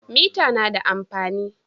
Mita na da amfani.